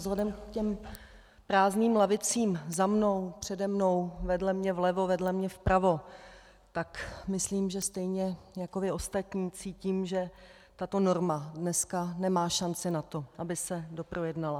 Vzhledem k těm prázdným lavicím za mnou, přede mnou, vedle mě vlevo, vedle mě vpravo, tak myslím, že stejně jako vy ostatní cítím, že tato norma dneska nemá šanci na to, aby se doprojednala.